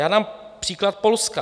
Já dám příklad Polska.